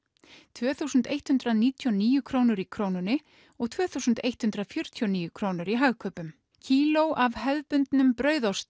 tvö þúsund eitt hundrað níutíu og níu krónur í Krónunni og tvö þúsund og eitt hundrað fjörutíu og níu krónur í Hagkaupum kíló af hefðbundnum brauðosti